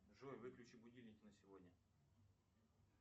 джой выключи будильник на сегодня